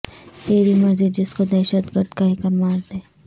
تیری مرضی جس کو دہشت گرد کہہ کر مار دے